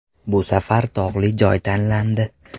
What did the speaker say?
Bu safar tog‘li joy tanlandi.